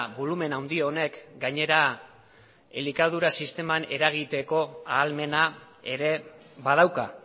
bolumen handi honek gainera elikadura sisteman eragiteko ahalmena ere badauka